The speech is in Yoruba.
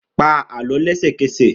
Pa Àlọ́ lẹ́sẹ̀kẹsẹ̀!